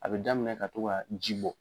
A bɛ daminɛ ka to ka ji bɔ.